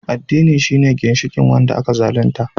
Addini shine ginshikin wanda aka zalunta